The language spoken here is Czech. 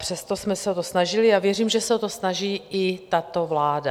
Přesto jsme se o to snažili a věřím, že se o to snaží i tato vláda.